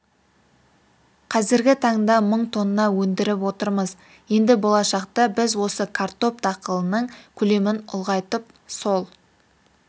қазіргі таңда мың тонна өндіріп отырмыз енді болашақта біз осы картоп дақылының көлемін ұлғайтып сол